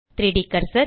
3ட் கர்சர்